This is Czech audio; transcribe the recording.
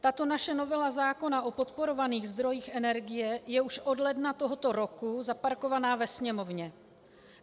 Tato naše novela zákona o podporovaných zdrojích energie je už od ledna tohoto roku zaparkovaná ve Sněmovně.